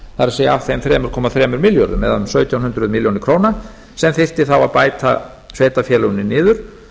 það er af þeim þremur komma þremur milljörðum eða um sautján hundruð milljóna króna sem þyrfti þá að bæta sveitarfélögunum niður